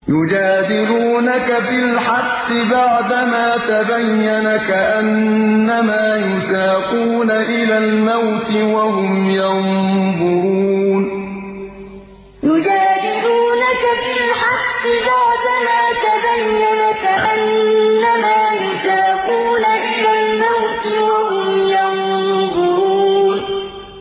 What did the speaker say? يُجَادِلُونَكَ فِي الْحَقِّ بَعْدَمَا تَبَيَّنَ كَأَنَّمَا يُسَاقُونَ إِلَى الْمَوْتِ وَهُمْ يَنظُرُونَ يُجَادِلُونَكَ فِي الْحَقِّ بَعْدَمَا تَبَيَّنَ كَأَنَّمَا يُسَاقُونَ إِلَى الْمَوْتِ وَهُمْ يَنظُرُونَ